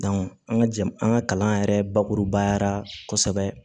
an ka jamana an ka kalan yɛrɛ bakurubaya la kɔsɛbɛ